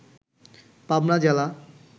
পাবনা জেলা